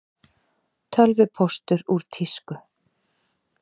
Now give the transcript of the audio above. Tölvupóstur úr tísku